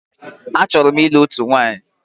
Achọrọ m ịlụ òtù nwaanyi.